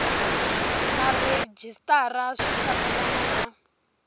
na rhejisitara swi fambelana na